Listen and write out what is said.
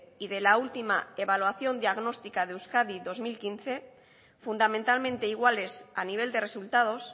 y de la última evaluación diagnóstica de euskadi dos mil quince fundamentalmente iguales a nivel de resultados